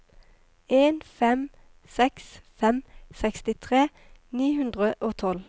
en fem seks fem sekstitre ni hundre og tolv